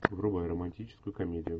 врубай романтическую комедию